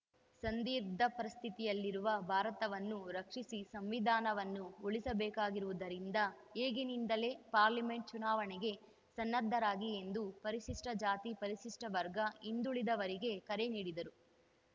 ಸಂದಿಗ್ಧ ಪರಿಸ್ಥಿತಿಯಲ್ಲಿರುವ ಭಾರತವನ್ನು ರಕ್ಷಿಸಿ ಸಂವಿಧಾನವನ್ನು ಉಳಿಸಬೇಕಾಗಿರುವುದರಿಂದ ಈಗಿನಿಂದಲೇ ಪಾರ್ಲಿಮೆಂಟ್‌ ಚುನಾವಣೆಗೆ ಸನ್ನದ್ಧರಾಗಿ ಎಂದು ಪರಿಶಿಷ್ಟಜಾತಿ ಪರಿಶಿಷ್ಟವರ್ಗ ಹಿಂದುಳಿದವರಿಗೆ ಕರೆ ನೀಡಿದರು